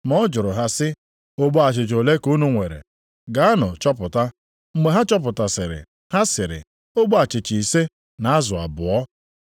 Ma ọ jụrụ ha sị, “Ogbe achịcha ole ka unu nwere? Gaanụ chọpụta.” Mgbe ha chọpụtasịrị, ha sịrị, “Ogbe achịcha ise na azụ abụọ.”